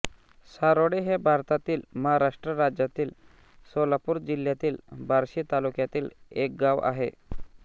सारोळे हे भारतातील महाराष्ट्र राज्यातील सोलापूर जिल्ह्यातील बार्शी तालुक्यातील एक गाव आहे